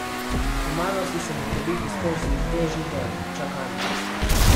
Pomagal si se mi prebiti skozi težji del, čakanje.